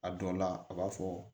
A dɔ la a b'a fɔ